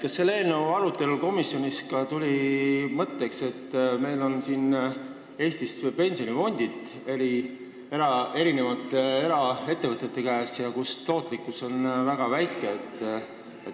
Kas selle eelnõu arutelul komisjonis tuli ka kõne alla, et meil on Eestis pensionifondid mitmete eraettevõtete käes ja nende tootlikkus on väga väike.